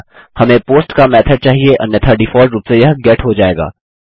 हमें पोस्ट का मेथोड चाहिए अन्यथा डिफॉल्ट रूप में यह गेट हो जाएगा